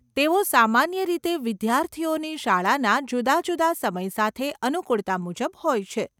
તેઓ સામાન્ય રીતે વિદ્યાર્થીઓની શાળાના જુદા જુદા સમય સાથે અનુકૂળતા મુજબ હોય છે.